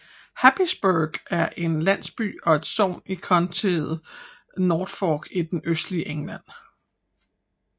Happisburgh er en landsby og et sogn i countiet Norfolk i det østlige England